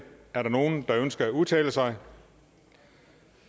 er der nogen der ønsker at udtale sig